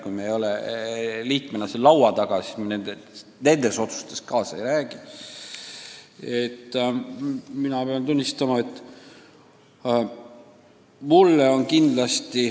Kui me ei ole liikmena seal laua taga, siis me nendes otsustes kaasa ei räägi.